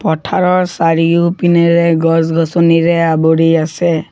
পথাৰৰ চাৰিওপিনে গছ-গছনিৰে আৱৰি আছে।